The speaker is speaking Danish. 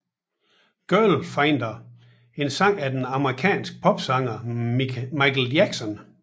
Girlfriender en sang af den amerikanske popsanger Michael Jackson